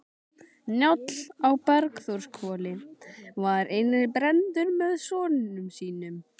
Njáll á Bergþórshvoli var inni brenndur með sonum sínum.